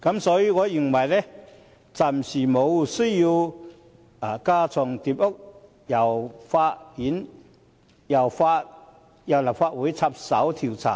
所以，我認為暫時無需要架床疊屋，由立法會插手調查。